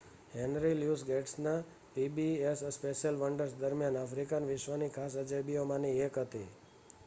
henry Louis ગેટ્સના PBS special wonders દરમિયાન African વિશ્વની ખાસ અજાયબીઓમાંની એક હતી